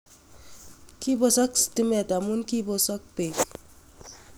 Kibosook stimeet amun kiposok peek